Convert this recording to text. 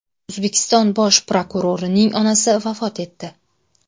O‘zbekiston bosh prokurorining onasi vafot etdi.